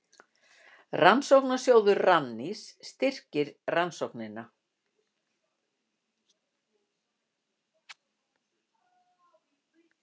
Rannsóknasjóður Rannís styrkti rannsóknina